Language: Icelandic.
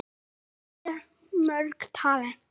Þú hafðir mörg talent.